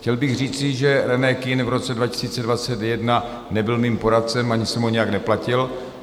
Chtěl bych říci, že René Kühn v roce 2021 nebyl mým poradcem ani jsem ho nijak neplatil.